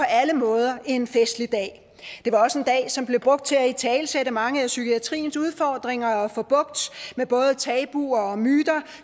alle måder en festlig dag det var også en dag som blev brugt til at italesætte mange af psykiatriens udfordringer og få bugt med både tabuer og myter